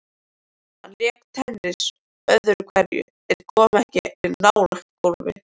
Hann lék tennis öðru hverju en kom ekki nálægt golfi.